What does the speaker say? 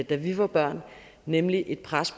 da vi var børn nemlig et pres